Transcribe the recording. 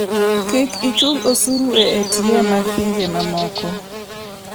Kik ichul osuru e ATM mag pinje mamoko.